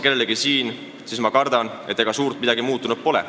Kellelegi konkreetselt otsa vaatamata ma tunnistan, et kardetavasti suurt midagi muutunud pole.